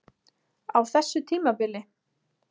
Á þessu tímabili?